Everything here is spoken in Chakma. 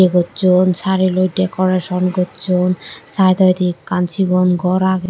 gochun sareelloi decoration gochun side odi ekkan sigon ghor aage.